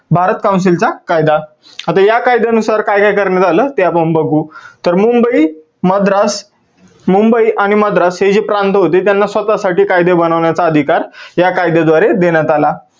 Bharat council चा कायदा. आता या कायद्यानुसार काय काय करण्यात आलं ते आपण बघू. तर मुंबई, मद्रास, मुंबई आणि मद्रास हे जे प्रांत होते त्यांना स्वतः साठी कायदे बनवण्याचा अधिकार या काद्याद्वारे देण्यात आला.